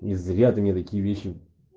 не зря ты мне такие вещи